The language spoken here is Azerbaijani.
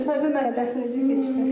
Müsahibə mərhələsi necə keçdi?